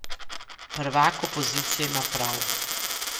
Prvak opozicije ima prav.